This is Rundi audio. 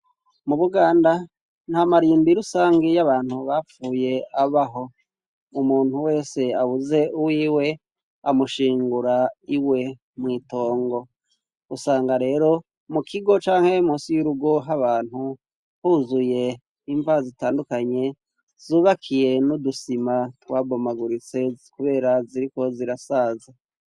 Mu Buganda nta marimbi rusangi y'abantu bapfuye abaho. Umuntu wese abuze uwiwe amushingura iwe mw'itongo. Usanga rero mu kigo canke musi y'urugo h'abantu huzuye imva zitandukanye, zubakiye n'udusima twabomaguritse kubera ziriko zirasaza.